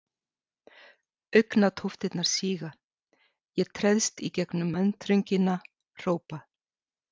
Augnatóftirnar síga, ég treðst í gegnum mannþröngina, hrópa